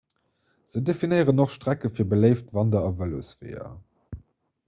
se definéieren och strecke fir beléift wander a vëlosweeër